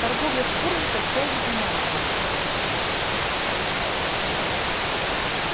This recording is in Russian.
торговля шкурами костями и мясом